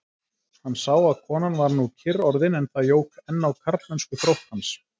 Hann sá að konan var nú kyrr orðin, en það jók enn á karlmennskuþrótt hans.